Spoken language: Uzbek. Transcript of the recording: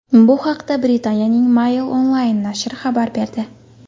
Bu haqda Britaniyaning Mail Online nashri xabar berdi .